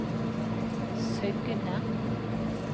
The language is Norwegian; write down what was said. Søgne